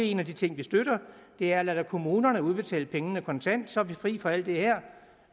en af de ting vi støtter er at lade kommunerne udbetale pengene kontant så er vi fri for alt det her